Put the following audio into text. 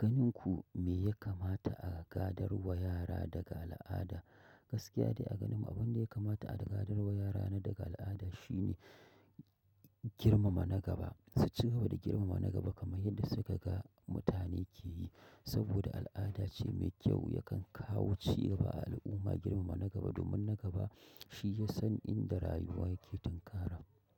Ganin ku me ya kamata a gadar wa yara daga al'ada? Gaskiya dai a ganin mu abunda ya kamata a gadar ma yara a al'ada shine. Girmama na gaba. Su ci gaba da girmama na gaba kaman yadda suka ga mutane ke yi. Saboda al'ada ce mai kyau yakan kawo cigaba a al'umma girmama na gaba domin na gaba shiyasan inda rayuwa yake tinkara.